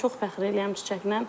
Çox fəxr eləyirəm Çiçəklə.